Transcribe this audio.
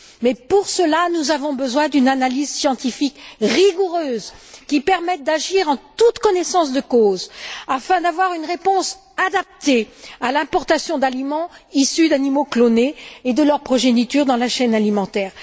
Mais pour cela, nous avons besoin d'une analyse scientifique rigoureuse qui permette d'agir en toute connaissance de cause, afin d'apporter une réponse adaptée à la question de l'importation d'aliments issus d'animaux clonés et de leur progéniture dans la chaîne alimentaire.